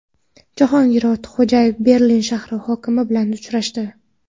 Jahongir Ortiqxo‘jayev Berlin shahri hokimi bilan uchrashdi.